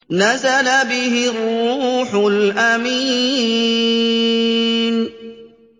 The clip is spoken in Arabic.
نَزَلَ بِهِ الرُّوحُ الْأَمِينُ